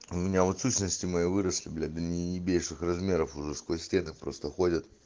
у меня вот сущности мои выросли блять до неебейших размеров уже сквозь стены просто ходят